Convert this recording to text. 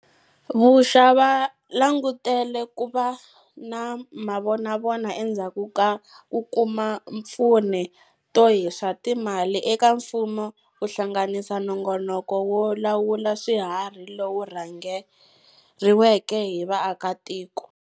Vuxa va langutele ku va na mavonavona endzhaku ko kuma mpfuneto hi swa timali eka mfumo ku hlanganisa nongonoko wo lawula swiharhi lowu rhangeriweke hi vaakatiko.